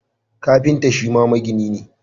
Kafinta Shima magini ne